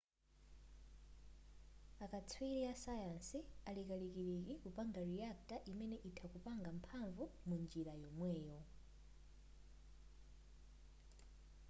a katswiri a sayansi ali kalikiliki kupanga reactor imene itha kupanga mphanvu munjira yomweyo